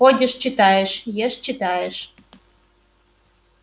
ходишь читаешь ешь читаешь